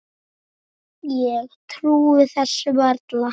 Ég trúi þessu varla.